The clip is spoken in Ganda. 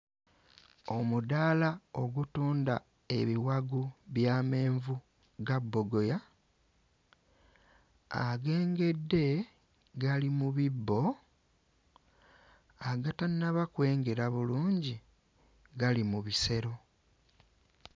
Omuddaala ogutunda ebiwagu by'amenvu ga bbogoya agengedde gali mu bibbo, agatannaba kwengera bulungi gali mu bisero.